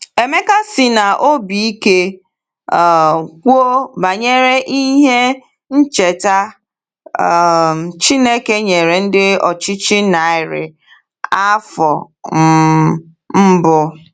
Emeka sị n’obi ike um kwuo banyere ihe ncheta um Chineke nyere ndị ọchịchị narị afọ um mbụ.